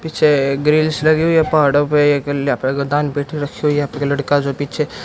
पीछे एक ग्रिलस लगी हुई है पहाड़ों पे एक लेपडगदान पेटी रखी हुई है यहां पे लड़का जो पीछे--